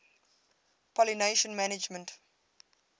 pollination management